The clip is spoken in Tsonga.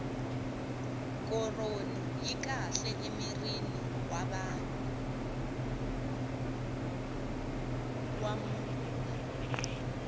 koroni yi kahle emirini wa munhu